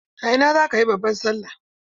A ina zaka yi babban Sallah?